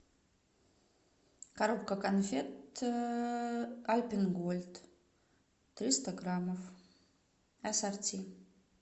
коробка конфет альпен гольд триста граммов ассорти